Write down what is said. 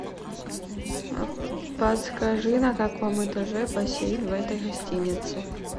подскажи на каком этаже бассейн в этой гостинице